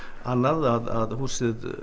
annað húsið